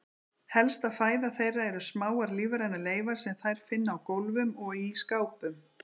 Helsta fæða þeirra eru smáar lífrænar leifar sem þær finna á gólfum og í skápum.